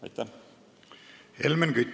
Helmen Kütt, palun!